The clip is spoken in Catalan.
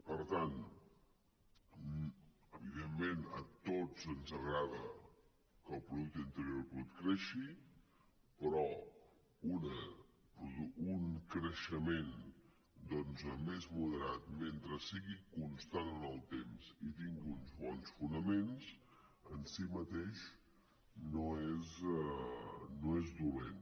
per tant evidentment a tots ens agrada que el producte interior brut creixi però un creixement més moderat mentre sigui constant en el temps i tingui uns bons fonaments en si mateix no és dolent